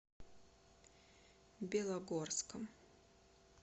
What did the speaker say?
белогорском